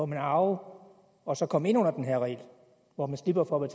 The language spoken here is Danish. må arve og så komme ind under den her regel hvor man slipper for at